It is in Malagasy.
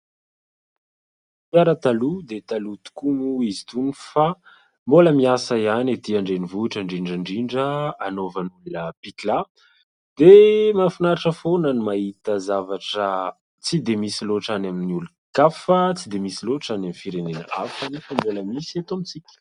Fiara taloha dia taloha tokoa moa izy itony fa mbola miasa ihany ety Andrenivohitra indrindra indrindra anaovan'olona pikà dia mahafinaritra foana no mahita zavatra tsy dia misy loatra any amin'ny olon-kafa, tsy dia misy loatra any amin'ny firenena hafa nefa mbola misy eto amintsika.